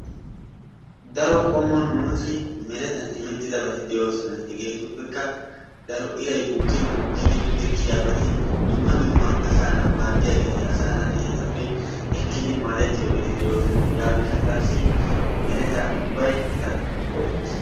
Daro qommo nuusi merettan immettidabati de'oosona. Hegeetuppekka daro iray bukkin mokkidi pude kiyiyaabata dumma dumma asaanaa maddiyageeti asaa naati etappe ekkidi maadettiyoogetti de'oosona. Hegaa gishshataasi merettaa ubbay eta go'ettees.